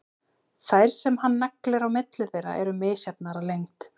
Þær sem hann neglir á milli þeirra eru misjafnar að lengd.